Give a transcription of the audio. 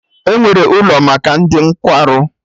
Enwere ụlọ maka ndị nkwarụ